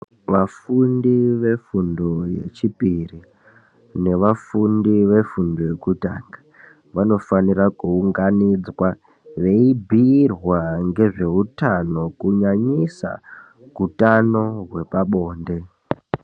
Vafundi vefundo yechipiri nevafundi vefundo yekutanga vanofanira kuunganidzwa veibhirwa ngezve hutano kunyanyisa hutano hwepabonde.